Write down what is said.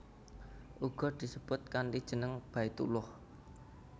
Uga disebut kanthi jeneng Baitullah